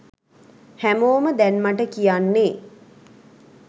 හැමෝම දැන් මට කියන්නේ